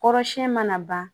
Kɔrɔsiyɛnni mana ban